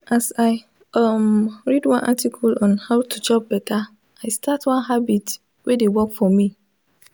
as i um read one article on how to chop betta i start one habit wey dey work for me.